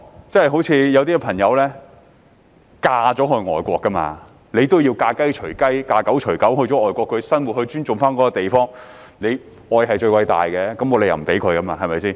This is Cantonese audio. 正如有些朋友嫁到外國便要"嫁雞隨雞，嫁狗隨狗"，到外國生活便要尊重該地方，因為愛是最偉大的，沒有理由不容許。